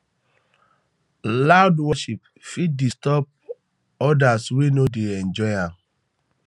loud worship fit disturb odirs wey no dey enjoy am um